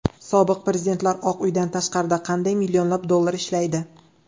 Sobiq prezidentlar Oq uydan tashqarida qanday millionlab dollar ishlaydi?